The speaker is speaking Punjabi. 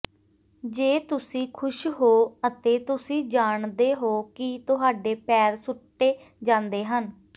ਜੇ ਤੁਸੀਂ ਖੁਸ਼ ਹੋ ਅਤੇ ਤੁਸੀਂ ਜਾਣਦੇ ਹੋ ਕਿ ਤੁਹਾਡੇ ਪੈਰ ਸੁੱਟੇ ਜਾਂਦੇ ਹਨ